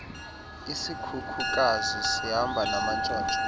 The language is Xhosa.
isikhukukazi sihamba namantshontsho